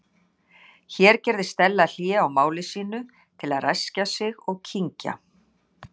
Hér gerði Stella hlé á máli sínu til að ræskja sig og kyngja.